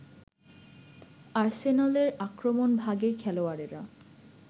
আর্সেনালের আক্রমণভাগের খেলোয়াড়েরা